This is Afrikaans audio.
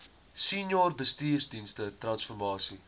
senior bestuursdienste transformasie